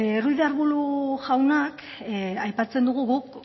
ruiz de arbulo jaunak aipatzen du guk